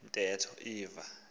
le ntetho ivela